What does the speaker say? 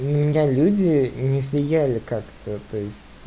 на меня люди не влияли как-то то есть